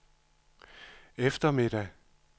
eftermiddag